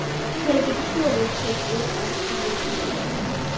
Til að geta sofið tökum við ef til vill lyf.